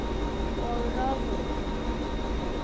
Og roðna.